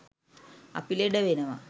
අපි ලෙඩ වෙනවා.